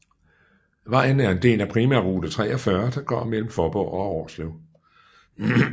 Vejen er en del af primærrute 43 der går imellem Faaborg og Årslev